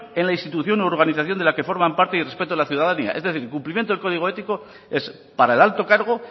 en la institución u organización de la que forman parte y respeto a la ciudadanía es decir el cumplimiento del código ético es para el alto cargo